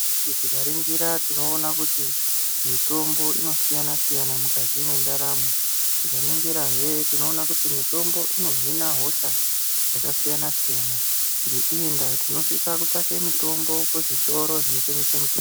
Chero tikaningira, tinoona kuti mitombo inosiyana siyana mukati mwendaramo. Tikaningira he tinoona kuti mitombo ino hina hosha dzakasiyana-siyana. Ngeiyi ndaa tinosisa kutsvake mitombo kuzvitoro zvinotengeswa mitombo.